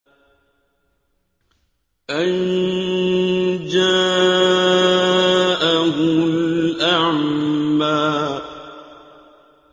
أَن جَاءَهُ الْأَعْمَىٰ